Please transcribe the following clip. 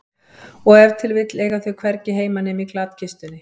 Og ef til vill eiga þau hvergi heima nema í glatkistunni.